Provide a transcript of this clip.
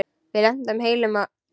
Við lentum heilu og höldnu.